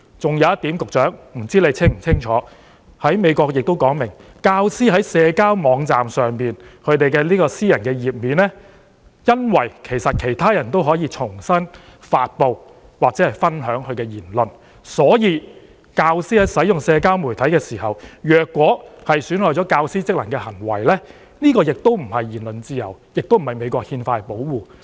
還有一點，我不知道局長是否清楚知道，美國亦訂明，由於教師在社交媒體的私人網頁上的言論有機會被其他人轉發或分享，所以教師在使用社交媒體時，如果出現損害教師職能的行為，便不能享有言論自由，亦不受美國憲法保護......